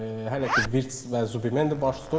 Hələ ki, Virts və Zubi Mendi baş tutub.